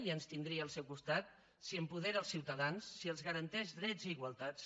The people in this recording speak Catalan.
i ens tindria al seu costat si apodera els ciutadans si els garanteix drets i igualtats